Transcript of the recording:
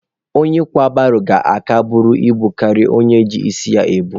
Onye kwa baro ga-aka buru ibu karịa onye ji isi ya ebu.